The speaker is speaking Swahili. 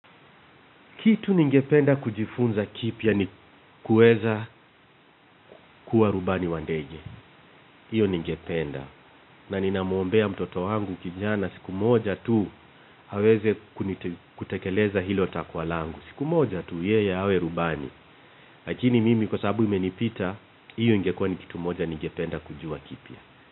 Kitu ninge penda kujifunza kipya ni kuweza kuwa rubani wa ndege. Hiyo ninge penda. Na ninamuombea mtoto wangu kijana siku moja tu aweze kutekeleza hilo takwa langu. Siku moja tu yeye awe rubani. Lakini mimi kwa sababu imenipita, hiyo ingekuwa ni kitu moja ninge penda kujua kipya.